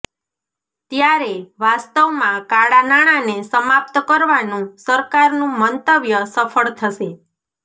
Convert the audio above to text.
ત્યારે વાસ્તવમાં કાળા નાણાંને સમાપ્ત કરવાનું સરકારનું મંતવ્ય સફળ થશે